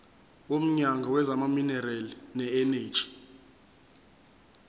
womnyango wezamaminerali neeneji